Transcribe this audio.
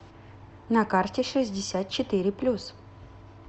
на карте шестьдесят четыре плюс